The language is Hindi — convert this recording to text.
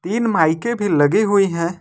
तीन मायके भी लगी हुई है।